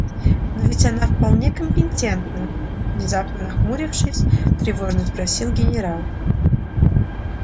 но ведь она вполне компетентна внезапно нахмурившись тревожно спросил генерал